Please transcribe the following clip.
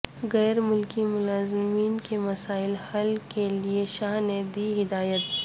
غیر ملکی ملازمین کے مسائل حل کے لئے شاہ نے دیں ہدایات